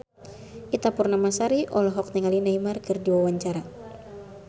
Ita Purnamasari olohok ningali Neymar keur diwawancara